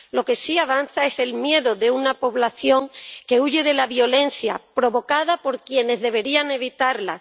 lo que sí avanza es el miedo de una población que huye de la violencia, provocada por quienes deberían evitarla.